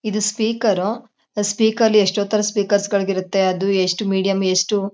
ಇದು speaker speaker ಅಲ್ಲಿ ಎಷ್ಟೋ ಥರ ಸ್ಪೀಕರ್ಗಳಿರುತ್ತೆ . ಅದ್ ಎಷ್ಟ್ ಮೀಡಿಯಂ ಎಷ್ಟು--